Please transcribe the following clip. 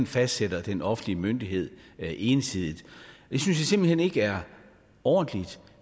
fastsætter den offentlige myndighed ensidigt det synes jeg simpelt hen ikke er ordentligt